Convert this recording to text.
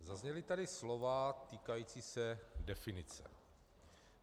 Zazněla tady slova týkající se definice.